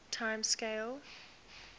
time scales